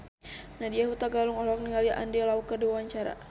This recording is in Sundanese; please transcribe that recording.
Nadya Hutagalung olohok ningali Andy Lau keur diwawancara